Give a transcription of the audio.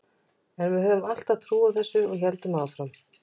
En við höfðum alltaf trú á þessu og héldum áfram.